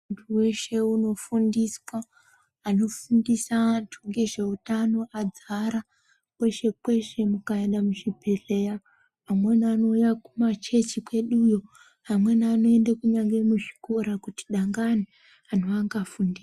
Muntu weshe unofundiswa, anofundisa acho ngezveutano adzara kweshe -kweshe mukaenda muzvibhehleya amweni anouya Kumachechi kweduyo amweni anoenda kunyange muzvikora kuti dangani antu angafunda.